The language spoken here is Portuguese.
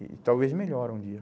E talvez melhore um dia.